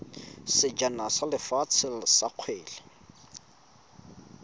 sejana sa lefatshe sa kgwele